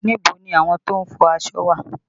Níbo ni àwọn tó ń fọ aṣọ wà?